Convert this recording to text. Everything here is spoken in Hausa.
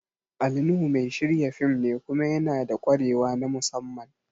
Ali Nuhu mai shirya fim ne kuma yanada ƙwarewa na musamman